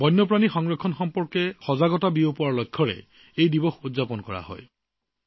বন্যপ্ৰাণী সংৰক্ষণ সম্পৰ্কে সজাগতা প্ৰসাৰৰ উদ্দেশ্যে এই দিৱস পালন কৰা হয়